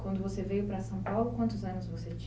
Quando você veio para São Paulo, quantos anos você